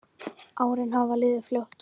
Árin hafa liðið fljótt.